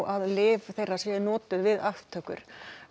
að lyf þeirra sé notað við aftöku í